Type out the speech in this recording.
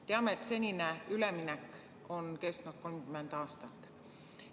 Teame, et senine üleminek on kestnud 30 aastat.